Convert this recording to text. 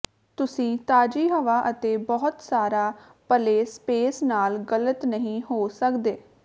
ਤੁਸੀਂ ਤਾਜ਼ੀ ਹਵਾ ਅਤੇ ਬਹੁਤ ਸਾਰਾ ਪਲੇ ਸਪੇਸ ਨਾਲ ਗਲਤ ਨਹੀਂ ਹੋ ਸਕਦੇ